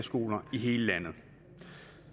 det